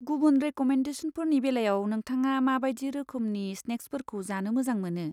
गुबुन रेक'मेन्डेसनफोरनि बेलायाव नोंथाङा माबादि रोखोमनि स्नेक्सफोरखौ जानो मोजां मोनो?